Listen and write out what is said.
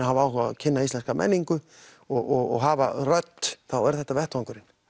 hafa áhuga á að kynna íslenska menningu og hafa rödd þá er þetta vettvangurinn